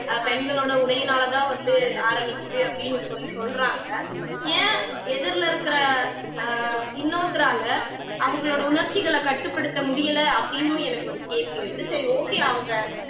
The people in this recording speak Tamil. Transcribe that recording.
ஆஹ் பெண்களோட உடையினாலதான் வந்து ஆரம்பிக்குது அப்படின்னு சொல்லி சொல்றாங்க ஏன் எதிர்ல இருக்கிற ஆஹ் இன்னொருத்தரால அவங்களோட உணர்ச்சிகளை கட்டுப்படுத்த முடியல அப்படின்னும் எனக்கு ஒரு கேள்வி எழுது சரி okay அவங்க